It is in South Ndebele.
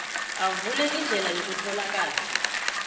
avule indlela yokutholakala